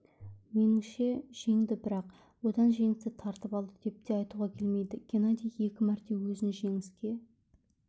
меніңше жеңді бірақ одан жеңісті тартып алды деп те айтуға келмейді геннадий екі мәрте өзін жеңіске